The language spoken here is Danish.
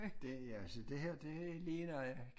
Det altså det her det ligner øh